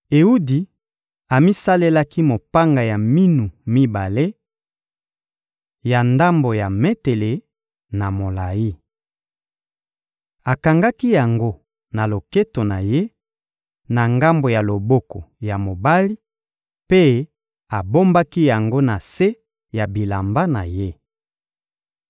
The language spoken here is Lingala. Ewudi amisalelaki mopanga ya minu mibale, ya ndambo ya metele na molayi. Akangaki yango na loketo na ye, na ngambo ya loboko ya mobali, mpe abombaki yango na se ya bilamba na ye.